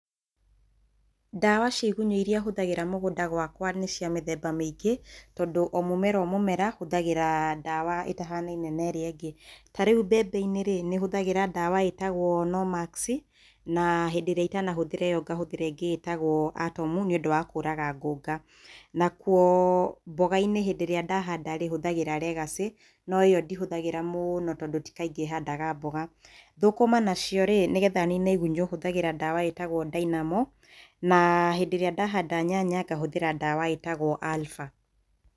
Dawa cia igunyũ iria hũthagĩra mũgũnda gwakwa nĩ cia mĩthemba mĩingĩ, tondũ o mũmera o mũmera, hũthagĩra dawa ĩtahanaine na ĩrĩa ĩngĩ. Ta rĩu mbembe-inĩ, hũthagĩra dawa ĩtagwo Nomax, na rĩrĩa itanatũmĩra ĩyo hũthagĩra ĩngĩ ĩtagwo Atom nĩũndũ wa kũraga ngũnga. Nakuo mboga-inĩ hĩndĩ ĩrĩa ndahanda hũthagĩra Legacy no ĩyo ndĩhũthagĩra mũno tondũ ti kaingĩ handaga mboga. Thũkũma nacio-rĩ, nĩgetha nine igunyũ hũthagĩra dawa ĩtagwo Dynamo, na hĩndĩ ĩrĩa ndahanda nyanya, ngahũthĩra dawa ĩtagwo Alpha.